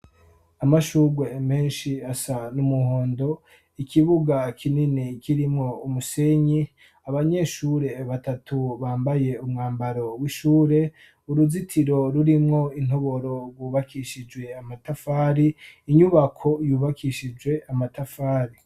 Amashurwe menshi asa numuhondo .Ikibuga kinini kirimo umusenyi abanyeshure batatu bambaye umwambaro w'ishure .Uruzitiro rurimwo intoboro rwubakishijwe amatafari inyubako yubakishijwe amatafari.